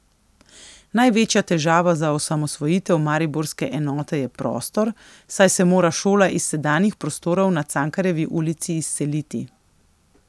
Največja težava za osamosvojitev mariborske enote je prostor, saj se mora šola iz sedanjih prostorov na Cankarjevi ulici izseliti.